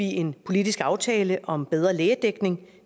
en politisk aftale om bedre lægedækning